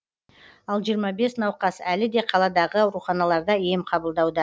ал жиырма бес науқас әлі де қаладағы ауруханаларда ем қабылдауда